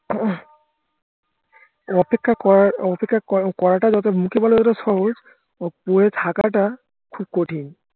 এই অপেক্ষা করা অপেক্ষা করাটা যত মুখে বলা যত সহজ করে থাকাটা খুব কঠিন